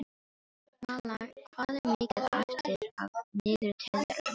Malla, hvað er mikið eftir af niðurteljaranum?